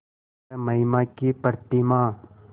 वह महिमा की प्रतिमा